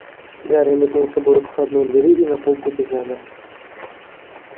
гарри метнулся было к входной двери и на полпути замер